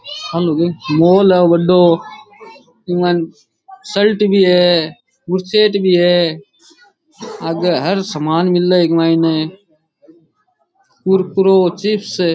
आ लुगाई मॉल है बढ़ो इक मायने शर्ट भी है बुसेट भी है आगे हर सामान मिले मायने कुरकुरो चिप्स --